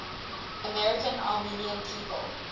american armenian people